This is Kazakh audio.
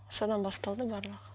содан басталды барлығы